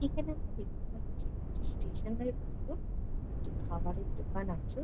এখানে আমরা দেখতে পাচ্ছি একটি স্টেশন -এর উপর একটি খাবারের দোকান আছে।